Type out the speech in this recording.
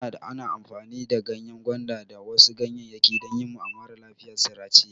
Ada ana amfani da ganyen gwanda da wasu ganyeyaki dan yima maralafiya sirace